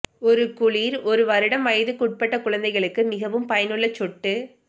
ஒரு குளிர் ஒரு வருடம் வயதுக்குட்பட்ட குழந்தைகளுக்கு மிகவும் பயனுள்ள சொட்டு